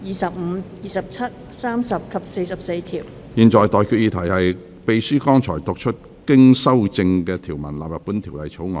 我現在向各位提出的待決議題是：秘書剛讀出經修正的條文納入本條例草案。